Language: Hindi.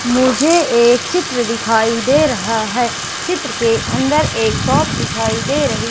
मुझे एक चित्र दिखाई दे रहा है चित्र के अंदर एक शॉप दिखाई दे रही--